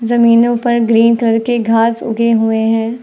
जमीनो पर green colour के घास उगे हुए हैं।